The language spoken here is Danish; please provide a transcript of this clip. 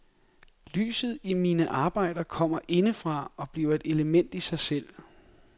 Lyset i mine arbejder kommer inde fra og bliver et element i sig selv.